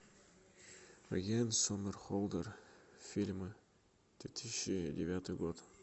йен сомерхолдер фильмы две тысячи девятый год